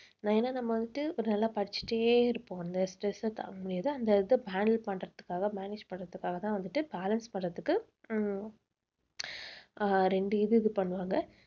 ஏன்னா நம்ம வந்துட்டு ஒரு நல்லா படிச்சிட்டே இருப்போம் அந்த stress அ தாங்க முடியாது. அந்த இதை handle பண்றதுக்காக manage பண்றதுக்காகதான் வந்துட்டு balance பண்றதுக்கு உம் அஹ் ரெண்டு இது இது பண்ணுவாங்க